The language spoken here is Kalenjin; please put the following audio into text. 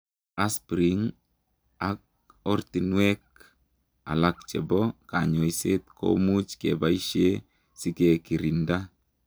Asprin ak ortinwek alaak chepoo kanyoiseet komuuch kebaishee sikekirindaa